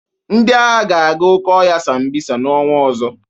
Ndị agha ga-aga oke ọhịa Sambisa n'ọnwa ọzọ.